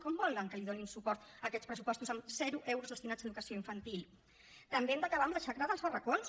com volen que donem suport a aquests pressupostos amb zero euros destinats a educació infantil també hem d’acabar amb la xacra dels barracons